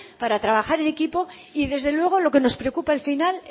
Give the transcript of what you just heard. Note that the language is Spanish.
para trabajar en equipo y desde luego lo que nos preocupa al final